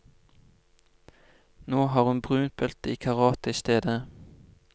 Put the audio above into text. Nå har hun brunt belte i karate i stedet.